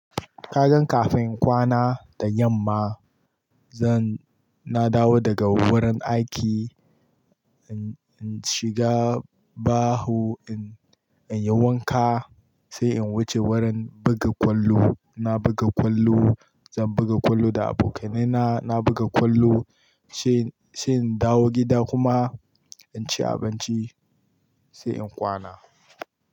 Ka gan kafin kwana da yamma zan, na dawo daga wurin aiki, in shiga baho in, in yi wanka sai in wuce wurin buga kwallo. Na buga kwallo, zan buga kwallo da abokanaina. Na buga kwallo sai, sai in dawo gida kuma in ci abinci sai in kwana.